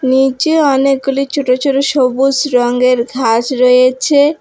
নীচে অনেকগুলি ছোট ছোট সবুজ রঙ্গের ঘাস রয়েছে।